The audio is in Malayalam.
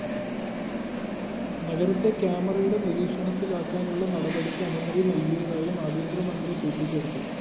നഗരത്തെ ക്യാമറയുടെ നിരീക്ഷണത്തിലാക്കാനുള്ള നടപടിക്ക് അനുമതി നല്‍കിയതായും ആഭ്യന്തരമന്ത്രി കൂട്ടിചേര്‍ത്തു